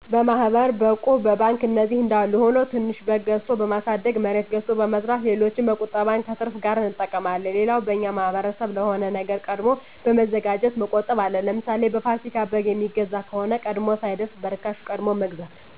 በማሕበር፣ በእቁብ፣ በባንክ እነዚህ አንዳሉ ሁኖ ትንሽ በግ ገዝቶ በማሣደግ፣ መሬት ገዝቶ በመዝራት ሌሎችም ቁጠባን ከትርፍ ጋር አንጠቀማለን። ሌላው በእኛ ማሕበረሰብ ለሆነ ነገር ቀድሞ በመዘጋጀት መቆጠብ አለ። ለምሣሌ፦ በፋሲካ በግ የሚገዛ ከሆነ ቀድሞ ሳይደርስ በእርካሽ ቀድሞ መግዛት።